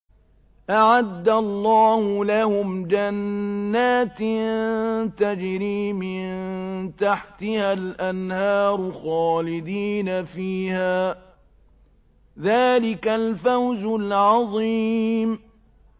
أَعَدَّ اللَّهُ لَهُمْ جَنَّاتٍ تَجْرِي مِن تَحْتِهَا الْأَنْهَارُ خَالِدِينَ فِيهَا ۚ ذَٰلِكَ الْفَوْزُ الْعَظِيمُ